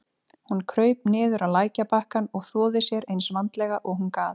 Hún kraup niður á lækjarbakkann og þvoði sér eins vandlega og hún gat.